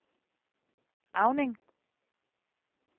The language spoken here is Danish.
Auning